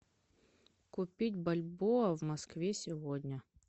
купить бальбоа в москве сегодня